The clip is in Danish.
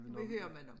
Vi må høre men om